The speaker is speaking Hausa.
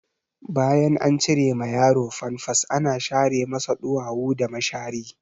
Bayan an cire ma yaro famfas ana share masa ɗuwawu da mashari.